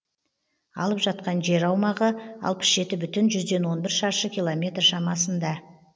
алып жатқан жер аумағы алпыс жеті бүтін жүзден он бір шаршы километр шамасында